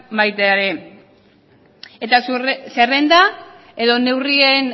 baita ere eta zerrenda edo neurrien